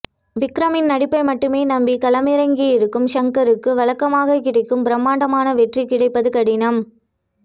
விக்ரமின் நடிப்பை மட்டுமே நம்பி களம் இறங்கி இருக்கும் ஷங்கருக்கு வழக்கமாகக்கிடைக்கும் பிரம்மாண்டமான வெற்றி கிடைப்பது கடினம்